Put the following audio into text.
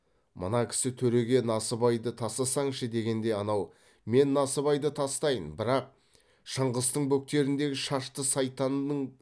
мына кісі төреге насыбайды тастасаңшы дегенде анау мен насыбайды тастайын бірақ шыңғыстың бөктеріндегі шашты сайтанның